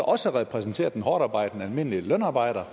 også repræsenterer den hårdtarbejdende almindelige lønarbejder